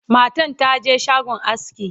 matan taje shagon aski